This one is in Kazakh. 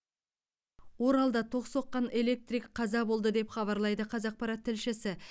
оралда тоқ соққан электрик қаза болды деп хабарлайды қазақпарат тілшісі